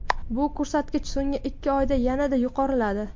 Bu ko‘rsatkich so‘nggi ikki oyda yanada yuqoriladi.